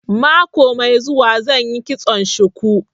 Mako mai zuwa zan yi kitson shuku